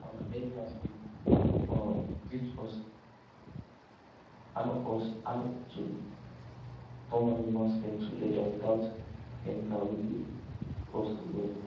our elders been um teach us how us how to turn animal skin to leather without chemical wey go cost well